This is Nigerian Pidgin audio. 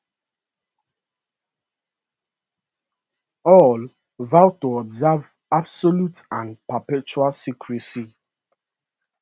all vow to observe absolute and perpetual secrecy